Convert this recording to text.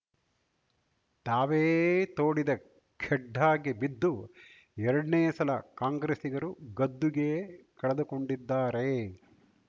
ತಾವೇ ತೋಡಿದ ಖೆಡ್ಡಾಕ್ಕೆ ಬಿದ್ದು ಎರಡ್ನೇ ಸಲ ಕಾಂಗ್ರಸ್ಸಿಗರು ಗದ್ದುಗೆ ಕಳೆದುಕೊಂಡಿದ್ದಾರೆ